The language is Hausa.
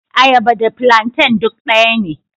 Ayaba da plantain duk daya ne..